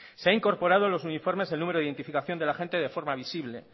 se ha incorporado en los uniformes el número de identificación del agente de forma visible